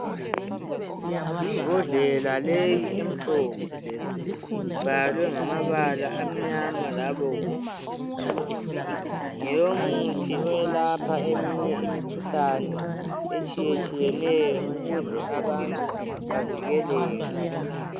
Imbodlela leyi emhlophe. Ibhalwe ngamabala amnyama labomvu. Ngeyomuthi eyelapha eminye imikhuhlane, etshiyetshiyeneyo, ukuze abantu bavikeleke.